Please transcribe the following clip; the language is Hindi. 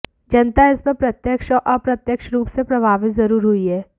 जनता इस पर प्रत्यक्ष और अप्रत्यक्ष रूप से प्रभावित जरूर हुई है